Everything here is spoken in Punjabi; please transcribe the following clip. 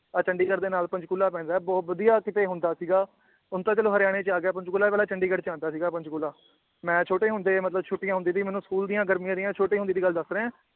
ਆ ਚੰਡੀਗੜ੍ਹ ਦੇ ਨਾਲ ਪੰਚਕੁਲਾ ਪੈਂਦਾ ਏ ਬਹੁਤ ਵਧੀਆ ਕਿਤੇ ਹੁੰਦਾ ਸੀਗਾ ਹੁਣ ਤਾਂ ਚਲੋ ਹਰਿਆਣੇ ਚ ਆਗਯਾ ਪੰਚਕੂਲਾ ਪਹਿਲਾਂ ਚੰਡੀਗੜ੍ਹ ਚ ਆਂਦਾ ਸੀਗਾ ਪੰਚਕੁਲਾ ਮੈ ਛੋਟੇ ਹੁੰਦੇ ਮਤਲਬ ਛੁਟੀਆਂ ਹੁੰਦੀ ਸੀ ਮੈਨੂੰ ਸਕੂਲ ਦੀਆਂ ਗਰਮੀਆਂ ਦੀਆਂ ਛੋਟੇ ਹੁੰਦੇ ਦੀ ਗੱਲ ਦੱਸ ਰਿਆ ਏ